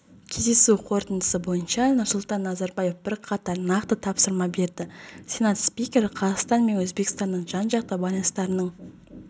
кездесу қорытындысы бойынша нұрсұлтан назарбаев бірқатар нақты тапсырма берді сенат спикері қазақстан мен өзбекстанның жан-жақты байланыстарының